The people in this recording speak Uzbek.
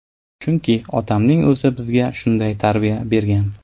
Chunki otamning o‘zi bizga shunday tarbiya bergan.